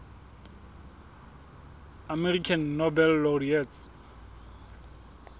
american nobel laureates